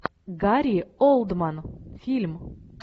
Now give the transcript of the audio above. гарри олдман фильм